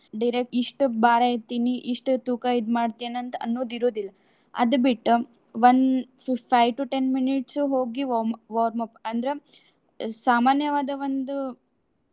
ಇಷ್ಟು ಭಾರ ಎತ್ತಿನಿ, ಇಷ್ಟು ತೂಕ ಇದ್ನ ಮಾಡ್ತೇನ್ ಅಂತ ಅನ್ನುದು ಇರುದಿಲ್ಲಾ. ಅದ್ ಬಿಟ್ಟು ಒಂದ್ five to ten minutes ಹೋಗಿ warm~ warmup ಅಂದ್ರ ಸಾಮಾನ್ಯವಾದ ಒಂದು.